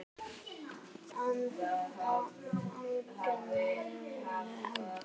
Agnes lítur á úrið.